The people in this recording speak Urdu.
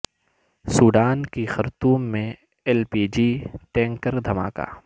سوڈان کے خرطوم میں ایل پی جی ٹینکر دھماکہ